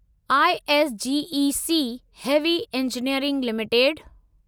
ISGEC heavy engineering limited